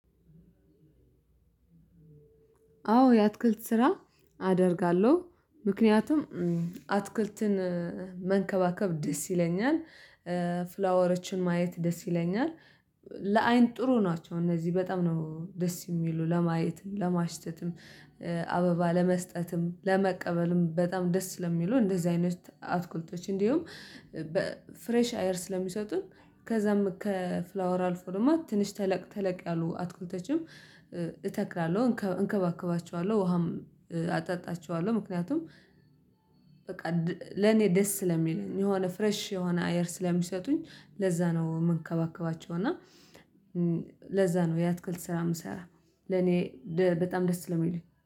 አዎ የአትክልት ስራ አደርጋለሁ ምክንያቱም አትክልትን መንከባከብ ደስ ይለኛል። ፍላወሮችን ማየት ደስ ይለኛል። ለአይን ጥሩ ናቸው እነዚህ በጣም ነው ደስ የሚሉ ለማየትም ለማሽተትም አበባ ለመስጠትም ለመቀበልም በጣም ደስ ለሚሉ እንደዚህ አይነት አትኩልቶች እንዲሁም። ፍሬሽ አየር ስለሚሰጡን ከዛም ከፍላወር አልፎ ደግሞ ትንሽ ተለቅ ተለቅ ያሉ አትኩልተችም እተክላለሁ እንከባከባቸዋለሁ ውሃም አጠጣቸዋለሁ። ምክንያቱም በቃ ለኔ ደስ ስለሚል የሆነ ፍረሽ የሆነ አየር ስለሚሰጡኝ ለዛ ነው የምንከባከባቸው። እና ለዛ ነው የአትክልት ስራ የምሰራ ለኔ በጣም ደስ የሚሉኝ